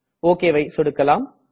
OKவை சொடுக்கலாம்